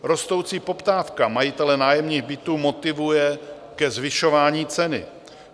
Rostoucí poptávka majitele nájemních bytů motivuje ke zvyšování ceny.